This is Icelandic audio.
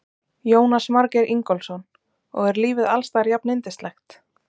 Jónas Margeir Ingólfsson: Og er lífið alls staðar jafnyndislegt?